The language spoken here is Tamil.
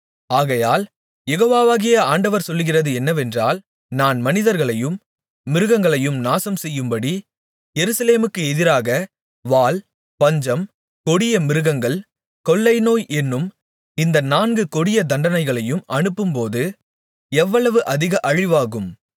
ஆகையால் யெகோவாகிய ஆண்டவர் சொல்லுகிறது என்னவென்றால் நான் மனிதர்களையும் மிருகங்களையும் நாசம்செய்யும்படி எருசலேமுக்கு எதிராக வாள் பஞ்சம் கொடியமிருகங்கள் கொள்ளைநோய் என்னும் இந்த நான்கு கொடிய தண்டனைகளையும் அனுப்பும்போது எவ்வளவு அதிக அழிவாகும்